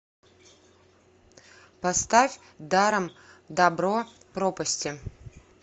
поставь даром дабро пропасти